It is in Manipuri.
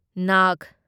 ꯅꯥꯒ